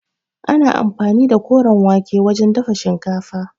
Ana anfani da koren wake wajen dafa shinkafa.